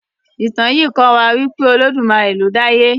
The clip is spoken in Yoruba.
Ìtàn yí kò wá pé olodumaré lọ dá àyè.